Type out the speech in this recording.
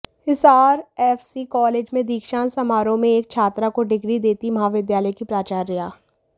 Hisar FC college में दीक्षांत समारोह में एक छात्रा को डिग्री देती महाविद्यालय की प्राचार्या